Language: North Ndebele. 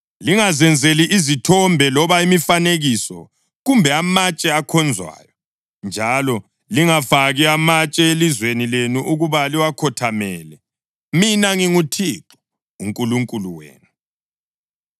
“ ‘Lingazenzeli izithombe loba imifanekiso kumbe amatshe akhonzwayo, njalo lingafaki matshe elizweni lenu ukuba liwakhothamele. Mina nginguThixo uNkulunkulu wenu.